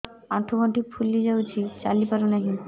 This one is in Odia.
ଆଂଠୁ ଗଂଠି ଫୁଲି ଯାଉଛି ଚାଲି ପାରୁ ନାହିଁ